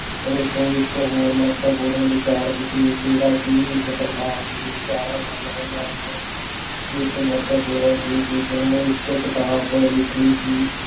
ਪਰ ਉਸ ਤੋਂ ਇੱਕ ਹੋਰ ਮਹੱਤਵਪੂਰਨ ਵਿਚਾਰਕ ਸੀ ਜਿਹੜਾ ਕਿ ਇਸ ਪ੍ਰਕਾਰ ਦੇ ਵਿਚਾਰ ਸਾਹਮਣੇ ਲਿਆਉਣ ਵਿੱਚ ਮਹੱਤਵਪੂਰਨ ਸੀ। ਜਿਸਨੇ ਇੱਕ ਕਿਤਾਬ ਲਿਖੀ ਸੀ